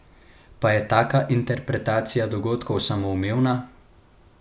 Pa je taka interpretacija dogodkov samoumevna?